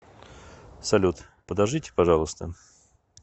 салют подождите пожалуйста